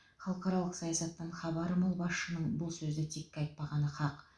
халықаралық саясаттан хабары мол басшының бұл сөзді текке айтпағаны хақ